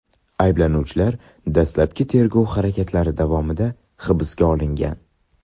Ayblanuvchilar dastlabki tergov harakatlari davomida hibsga olingan.